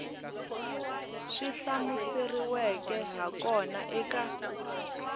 swi hlamuseriweke ha kona eka